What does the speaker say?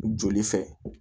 Joli fɛ